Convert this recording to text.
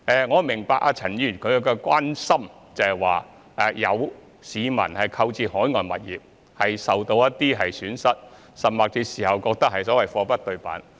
我明白陳議員關注到有市民購買海外物業時受到損失，甚至事後覺得"貨不對辦"。